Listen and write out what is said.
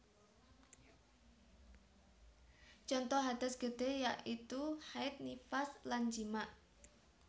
Conto hadas gede yaitu haid nifas lan jimak